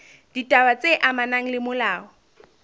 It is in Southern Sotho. ditaba tse amanang le molao